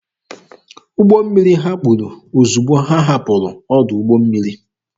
Ụgbọ mmiri ha kpuru ozugbo ha hapụrụ ọdụ ụgbọ mmiri.